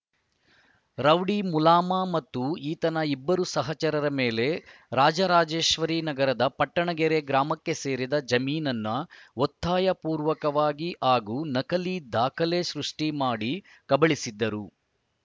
rowdy Mulama ಮತ್ತು ಈತನ ಇಬ್ಬರು ಸಹಚರರ ಮೇಲೆ ರಾಜರಾಜೇಶ್ವರಿ ನಗರದ ಪಟ್ಟಣಗೆರೆ ಗ್ರಾಮಕ್ಕೆ ಸೇರಿದ ಜಮೀನನ್ನು ಒತ್ತಾಯ ಪೂರ್ವಕವಾಗಿ ಹಾಗೂ ನಕಲಿ ದಾಖಲೆ ಸೃಷ್ಟಿಮಾಡಿ ಕಬಳಿಸಿದ್ದರು